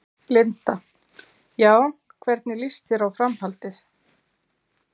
Linda: Já, hvernig lýst þér á framhaldið?